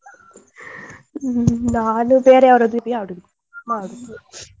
ಹ್ಮ್ ನಾನು ಬೇರೆ ಅವರದ್ದು ಆಡುದು ಮಾಡುದು.